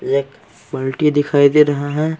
एक दिखाई दे रहा है .]